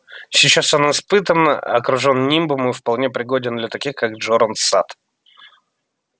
сейчас он испытан окружен нимбом и вполне пригоден для таких как джоран сатт